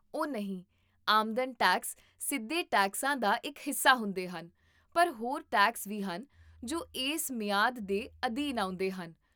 ਓਹ ਨਹੀਂ, ਆਮਦਨ ਟੈਕਸ ਸਿੱਧੇ ਟੈਕਸਾਂ ਦਾ ਇੱਕ ਹਿੱਸਾ ਹੁੰਦੇ ਹਨ, ਪਰ ਹੋਰ ਟੈਕਸ ਵੀ ਹਨ ਜੋ ਇਸ ਮਿਆਦ ਦੇ ਅਧੀਨ ਆਉਂਦੇ ਹਨ